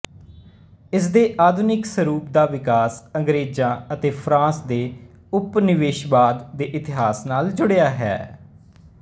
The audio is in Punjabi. ਇਸਦੇ ਆਧੁਨਿਕ ਸਰੂਪ ਦਾ ਵਿਕਾਸ ਅੰਗਰੇਜਾਂ ਅਤੇ ਫ਼ਰਾਂਸ ਦੇ ਉਪਨਿਵੇਸ਼ਵਾਦ ਦੇ ਇਤਿਹਾਸ ਨਾਲ ਜੁੜਿਆ ਹੈ